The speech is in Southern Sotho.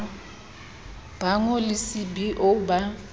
ba ngo le cbo ba